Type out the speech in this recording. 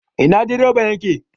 Ina direban yake?